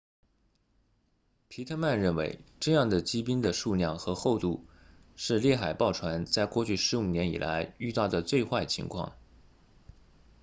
皮特曼 pittman 认为这样的积冰的数量和厚度是猎海豹船在过去15年以来遇到的最坏情况